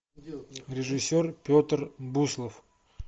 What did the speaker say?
режиссер петр буслов